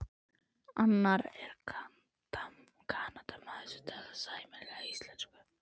Annar er Kanadamaður, hann talar sæmilega íslensku.